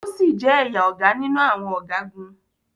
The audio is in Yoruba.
O si jẹ ẹya Oga ninu awọn ọgagun